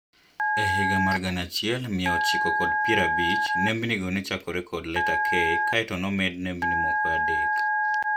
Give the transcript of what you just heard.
Ehiga mar gana achiel mia ochiko kod piero abich, nembni go nechakore kod leta K kae to nomed nembni moko adek